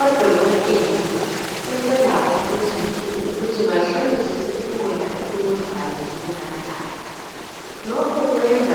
Odokotela sebelakho lezinsuku ukuthi bahlolisise ukudla esikudlayo lesikunathayo. Lokhu kwenza